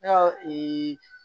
Yaho